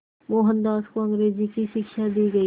मोहनदास को अंग्रेज़ी की शिक्षा दी गई